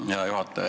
Hea juhataja!